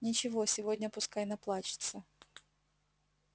ничего сегодня пускай наплачется